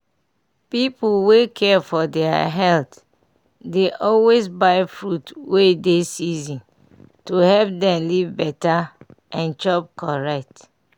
pipu wey care for deir health dey always buy fruits wey dey season to help dem live better and chop correct.